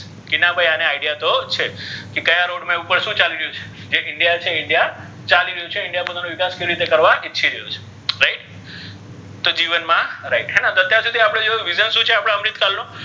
કે ના ભઇ આને idea તો છે કે ક્યા રોડ મા ઉપર શુ ચાલી રહ્યુ છે જે india છે india ચાલિ રહ્યુ છે india નો વિકાસ કરવા ઇચ્છી રહ્યો છે તો જીવન મા right તો અત્યાર સુધી વિધાન શુ છે આપણા અમ્રુત કાળનો,